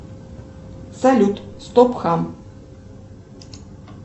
салют стоп хам